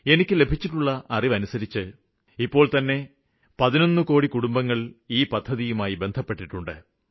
എനിയ്ക്ക് ലഭിച്ചിട്ടുള്ള അറിവ് അനുസരിച്ച് ഇതുവരെ 11 കോടി കുടുംബങ്ങള് ഈ പദ്ധതികളില് ചേര്ന്നിട്ടുണ്ട്